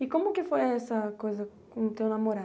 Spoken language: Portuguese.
E como que foi essa coisa com o teu namorado?